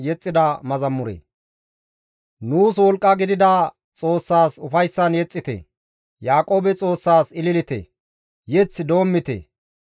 Yeth doommite; karabe baqqite; diiththaninne maasinqon lo7o mazamure yexxite.